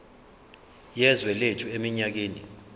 yezwe lethu eminyakeni